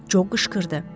Co qışqırdı.